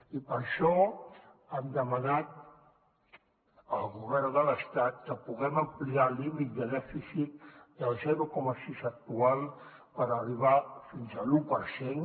i per això hem demanat al govern de l’estat que puguem ampliar el límit de dèficit del zero coma sis actual per arribar fins a l’u per cent